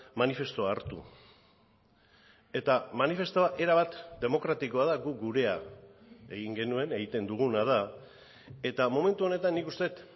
manifestua hartu eta manifestua erabat demokratikoa da guk gurea egin genuen egiten duguna da eta momentu honetan nik uste dut